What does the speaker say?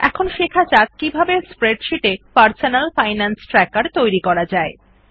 এখন শেখা যাক কিভাবে স্প্রেডশীট এ পারসোনাল ফাইনান্স ট্র্যাকের তৈরী করা যায়